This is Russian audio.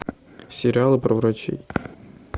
сериалы про врачей